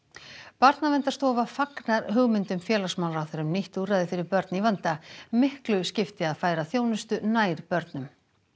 Barnaverndarstofa fagnar hugmyndum félagsmálaráðherra um nýtt úrræði fyrir börn í vanda miklu skipti að færa þjónustu nær börnum